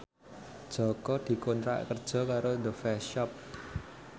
Jaka dikontrak kerja karo The Face Shop